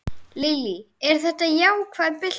Lillý: Þetta er ákveðin bylting?